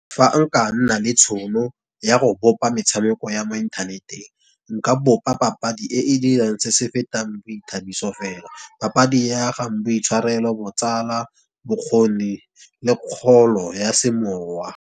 Fa nka nna le tšhono ya go bopa metshameko ya mo inthaneteng nka bopa papadi e e dirang se se fetang boithabiso fela. Papadi e agang boitshwarelo, botsala, bokgoni le kgolo ya semowa.